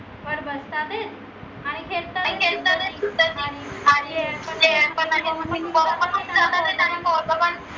वर बस्तातेत आणि खेडतात